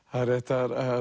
það er rétt